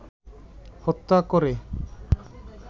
হত্যা করে